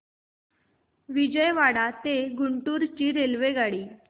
विजयवाडा ते गुंटूर ची रेल्वेगाडी